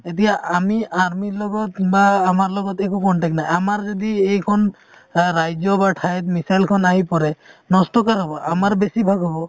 এতিয়া আমি army ৰ লগত বা আমাৰ লগত একো contact নাই আমাৰ যদি এইখন অ ৰাজ্য বা ঠাইত missile খন আহি পৰে নষ্ট কাৰ হ'ব আমাৰ বেছিভাগ হ'ব